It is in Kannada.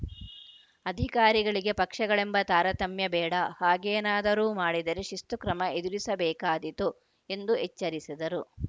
ಅಧಿಕಾರಿಗಳಿಗೆ ಪಕ್ಷಗಳೆಂಬ ತಾರತಮ್ಯಬೇಡ ಹಾಗೇನಾದರೂ ಮಾಡಿದರೆ ಶಿಸ್ತು ಕ್ರಮ ಎದುರಿಸಬೇಕಾದಿತು ಎಂದು ಎಚ್ಚರಿಸಿದರು